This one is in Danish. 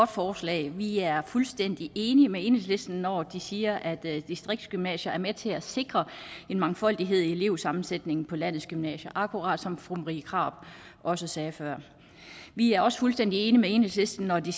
forslag vi er fuldstændig enige med enhedslisten når de siger at distriktsgymnasier er med til at sikre en mangfoldighed i elevsammensætningen på landets gymnasier akkurat som fru marie krarup også sagde før vi er også fuldstændig enige med enhedslisten når de